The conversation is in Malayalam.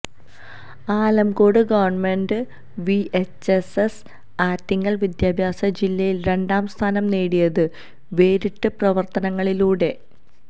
Alamcode govt V H S S Attingal വിദ്യാഭ്യാസ ജില്ലയില് രണ്ടാം സ്ഥാനം നേടിയത് വേറിട്ട പ്രവര്ത്തനങ്ങളിലൂടെ